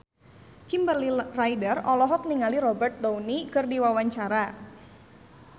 Kimberly Ryder olohok ningali Robert Downey keur diwawancara